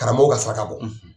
Karamɔgɔw ka saraka bɔ